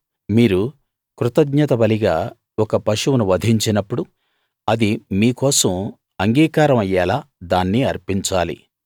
మీరు కృతజ్ఞత బలిగా ఒక పశువును వధించినప్పుడు అది మీ కోసం అంగీకారం అయ్యేలా దాన్ని అర్పించాలి